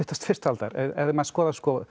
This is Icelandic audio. fyrstu aldar ef maður skoðar